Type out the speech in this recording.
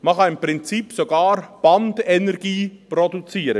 Man kann mit Biogas im Prinzip sogar Bandenergie produzieren.